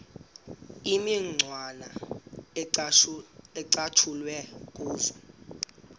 imicwana ecatshulwe kuzo